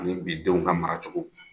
Ani bi denw ka mara cogo.